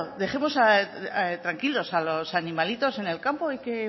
dejemos tranquilos a los animalitos en el campo y que